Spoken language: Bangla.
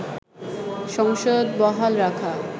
সংসদ বহাল রাখা